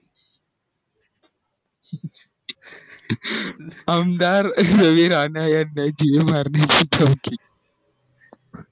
अंधार दिली जिवा मरणा ची धमकी